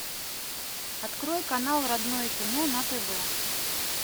открой канал родное кино на тв